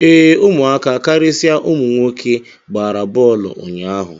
Ee, ụmụaka, karịsịa ụmụ nwoke gbara bọọlụ ụnyaahụ